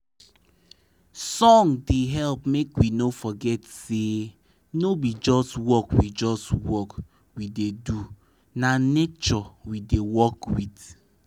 song da hep make we no forget say no be just work we just work we da do na nature we da work with